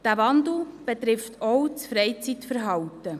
Dieser Wandel betrifft auch das Freizeitverhalten.